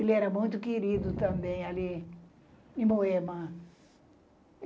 Ele era muito querido também ali, em Moema.